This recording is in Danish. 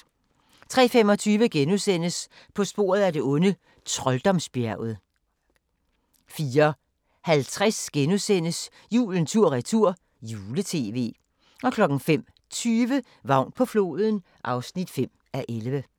03:25: På sporet af det onde: Trolddomsbjerget * 04:50: Julen tur-retur - jule-tv * 05:20: Vagn på floden (5:11)